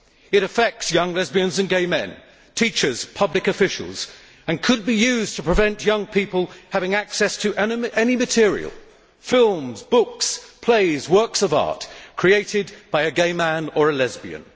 It affects young lesbians and gay men teachers, public officials and could be used to prevent young people having access to any material films, books, plays, works of art created by a gay man or a lesbian.